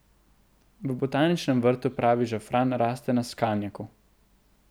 V Botaničnem vrtu pravi žafran raste na skalnjaku.